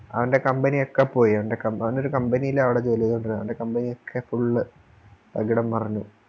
അവൻറെ Company ഒക്കെ പോയി അവൻറെ അവനൊരു Company ലാണ് ജോലി ചെയ്തോണ്ടിരുന്നേ അവൻറെ Company ഒക്കെ Full തകിടം മറിഞ്ഞ്